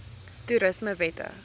toerismewette